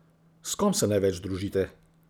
S kom se največ družite?